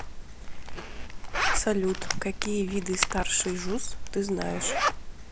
салют какие виды старший жуз ты знаешь